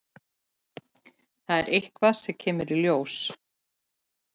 Það er eitthvað sem kemur í ljós.